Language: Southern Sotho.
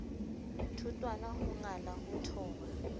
thotwana ho ngala ho thoba